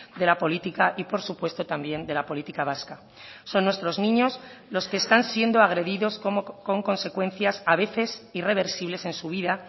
de la política y por supuesto también de la política vasca son nuestros niños los que están siendo agredidos con consecuencias a veces irreversibles en su vida